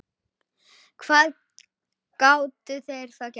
Hvað gátu þeir þá gert?